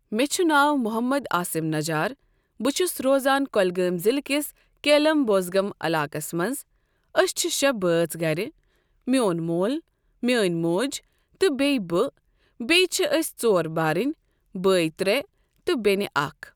مےٚ چھُ ناو محمد آسم نجار بہٕ چھُس روزان کُلگٲمۍ ضلع کس کٮ۪لم بوزگم علاقس منٛز۔ أسۍ چھِ شےٚ بٲژ گرِ۔ میون مول میٲنۍ موج تہٕ بییہ بہٕ بییہِ چھِ أسۍ ژور بارٕنۍ۔ بٲے ترٛےٚ تہٕ بینہِ اکھ۔